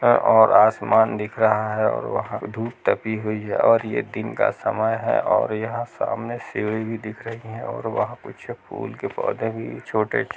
आ और आसमान दिख रहा है और वहाँ धूप तपी हुई है और ये दिन का समय है और यहाँ सामने सीड़ी भी दिख रही है और वहाँ कुछ फूल के पौधे भी छोटे--